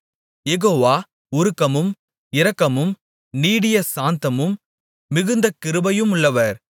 யெகோவா உருக்கமும் இரக்கமும் நீடிய சாந்தமும் மிகுந்த கிருபையுமுள்ளவர்